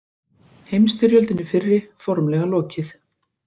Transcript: Heimstyrjöldinni fyrri formlega lokið